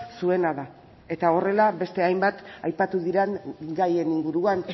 zuena da eta horrela beste hainbat aipatu diren gaien inguruan